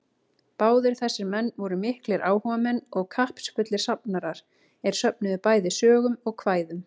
Báðir þessir menn voru miklir áhugamenn og kappsfullir safnarar, er söfnuðu bæði sögum og kvæðum.